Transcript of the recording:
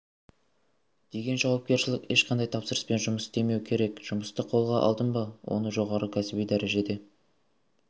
деген жауапкершілік ешқандай тапсырыспен жұмыс істемеу керек жұмысты қолға алдың ба оны жоғары кәсіби дәрежеде